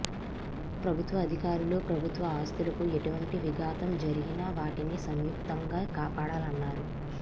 ప్రభుత్వ అధికారులు ప్రభుత్వ ఆస్తులకు ఎటువంటి విఘాతం జరిగినా వాటిని సంయుక్తంగా కాపాడాలన్నారు